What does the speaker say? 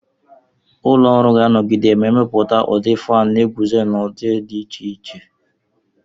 Ụlọ ọrụ ga-anọgide na-emepụta ndị fánu na-eguzo n'udi dị iche iche